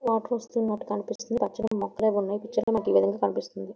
Water వస్తున్నట్టు కనిపిస్తుంది. పచ్చని ముక్కలు ఏవో ఉన్నాయి. ఈ పిక్చర్ లో మనకి ఈ విధంగా కనిపిస్తోంది.